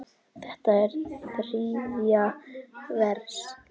Þetta er þriðja vers.